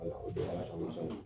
o de y'a colo sa